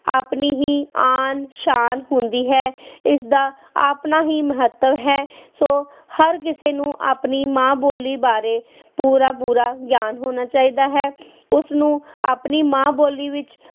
ਆਪਣੀ ਹੀ ਆਨ ਸ਼ਾਨ ਹੁੰਦੀ ਹੈ, ਇਸਦਾ ਆਪਣਾ ਹੀ ਮਹੱਤਵ ਹੈ ਸੋ ਹਰ ਕਿਸੇ ਨੂੰ ਆਪਣੀ ਮਾਂ ਬੋਲੀ ਬਾਰੇ ਪੂਰਾ ਪੂਰਾ ਗਿਆਨ ਹੋਣਾ ਚਾਹੀਦਾ ਹੈ ਉਸਨੂੰ ਆਪਣੀ ਮਾਂ ਬੋਲੀ ਵਿੱਚ